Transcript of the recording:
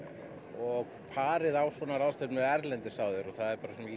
og farið á svona ráðstefnur erlendis áður og það er